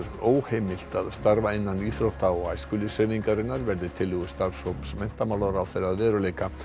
óheimilt að starfa innan íþrótta og æskulýðshreyfingarinnar verði tillögur starfshóps menntamálaráðherra að veruleika